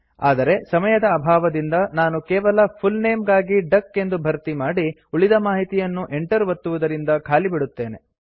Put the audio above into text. ಆದರೆ ಸಮಯದ ಅಭಾವದಿಂದ ನಾನು ಕೇವಲ ಫುಲ್ ನೇಮ್ ಗಾಗಿ ಡಕ್ ಎಂದು ಭರ್ತಿ ಮಾಡಿ ಉಳಿದ ಮಾಹಿತಿಯನ್ನು enter ಒತ್ತುವುದರಿಂದ ಖಾಲಿ ಬಿಡುತ್ತೇನೆ